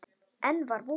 Enn var von!